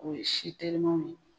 O ye si telimanw ye